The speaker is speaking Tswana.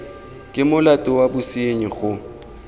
ke molato wa bosenyi go